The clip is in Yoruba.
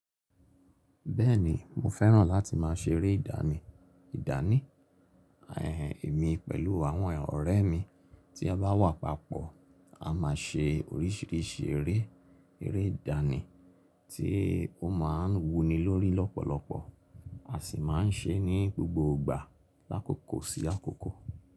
Bẹ́ẹ̀ni mo fẹ́ràn láti máa ṣeré ìdánì, ìdánì. Ẹ̀mi pẹ̀lú àwọn ọ̀rẹ́ mi tí a bá wà papọ̀ a máa ṣe oríṣìíríṣìí eré, eré ìdánì tí ó máa ń wuni lórí lọ́pọ̀lọpọ̀. A sì máa ń ṣe é ní gbogbo ìgbà lákòókò sí àkókò.